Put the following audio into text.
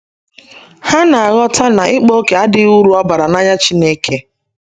Ha na - aghọta na ịkpa ókè adịghị uru ọ bara n’anya Chineke.